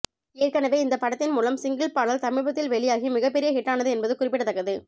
ஏற்கனவே இந்த படத்தின் முதல் சிங்கிள் பாடல் சமீபத்தில் வெளியாகி மிகப் பெரிய ஹிட்டானது என்பது குறிப்பிடத்தக்கது